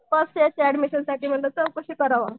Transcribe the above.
First ईयरच्या admission साठी म्हंटलं चौकशी करावं.